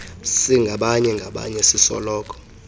singabanye ngabanye sisoloko